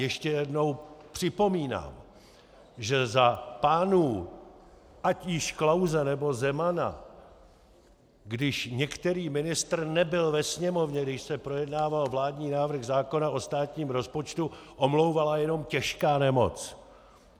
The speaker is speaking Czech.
Ještě jednou připomínám, že za pánů ať již Klause, nebo Zemana, když některý ministr nebyl ve Sněmovně, když se projednával vládní návrh zákona o státním rozpočtu, omlouvala jen těžká nemoc.